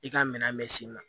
I ka minɛn bɛ s'i ma